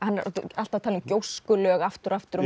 alltaf að tala um gjóskulög aftur og aftur og